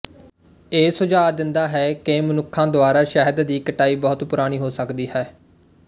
ਇਹ ਸੁਝਾਅ ਦਿੰਦਾ ਹੈ ਕਿ ਮਨੁੱਖਾਂ ਦੁਆਰਾ ਸ਼ਹਿਦ ਦੀ ਕਟਾਈ ਬਹੁਤ ਪੁਰਾਣੀ ਹੋ ਸਕਦੀ ਹੈ